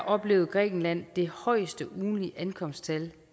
oplevede grækenland det højeste ugentlige ankomsttal